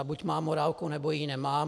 Ta buď má morálku, nebo ji nemá.